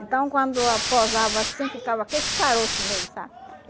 Então, quando ah pousava assim, ficava com esses caroço nele, sabe?